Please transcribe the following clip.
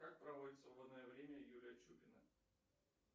как проводит свободное время юлия чупина